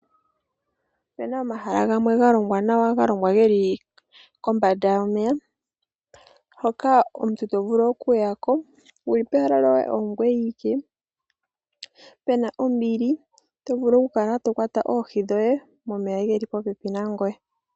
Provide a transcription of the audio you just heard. Opuna omahala gamwe ga longwa nawa ga longwa geli kombanda yomeya . Hoka omuntu to vulu oku ya ko wuli pehala lyoye ongoye awike . Puna ombili to vulu oku kala to kwata oohi dhoye momeya geli popepi nangoye.